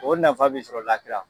O nafa bɛ sɔrɔ lakira.